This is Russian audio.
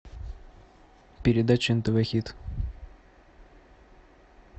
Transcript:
передача нтв хит